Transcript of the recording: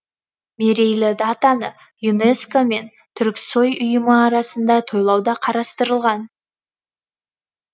мерейлі датаны юнеско мен түрксои ұйымы аясында тойлау да қарастырылған